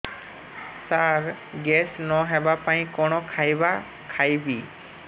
ସାର gas ନ ହେବା ପାଇଁ କଣ ଖାଇବା ଖାଇବି